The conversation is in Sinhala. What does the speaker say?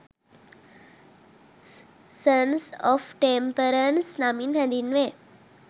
සන්ස් ඔෆ් ටෙම්පරන්ස් නමින් හැඳින්වේ